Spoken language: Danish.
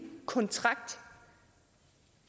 kontrakt